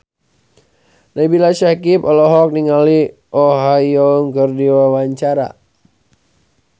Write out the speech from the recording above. Nabila Syakieb olohok ningali Oh Ha Young keur diwawancara